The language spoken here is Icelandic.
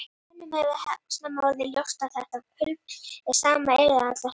Mönnum hefur snemma orðið ljóst að þetta hlutfall er hið sama fyrir alla hringi.